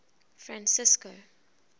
francisco